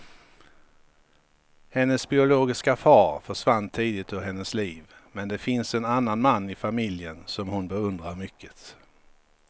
Hennes biologiska far försvann tidigt ur hennes liv, men det finns en annan man i familjen som hon beundrar mycket.